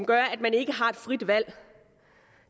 gør at man ikke har et frit valg